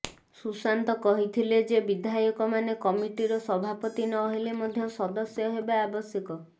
ସୁଶାନ୍ତ କହିଥିଲେ ଯେ ବିଧାୟକମାନେ କମିଟର ସଭାପତି ନ ହେଲେ ମଧ୍ୟ ସଦସ୍ୟ ହେବା ଆବଶ୍ୟକ